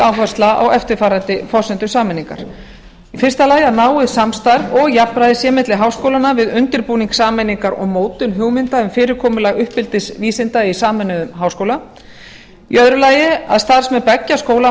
áhersla á eftirfarandi forsendur sameiningar fyrstu að náið samstarf og jafnræði sé milli háskólanna við undirbúning sameiningar og mótun hugmynda um fyrirkomulag uppeldisvísinda í sameinuðum háskóla annars að starfsmenn beggja skóla